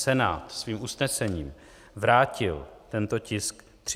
Senát svým usnesením vrátil tento tisk 30. ledna.